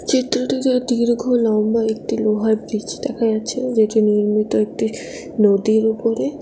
চিত্রটিতে দীর্ঘ লম্বা একটি লোহার ব্রীজ দেখা যাচ্ছে যেটি নির্মিত একটি নদীর উপরে।